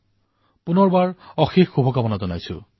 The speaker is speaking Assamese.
পুনৰবাৰ আপোনালোক সকলোলৈ অশেষ শুভকামনা থাকিল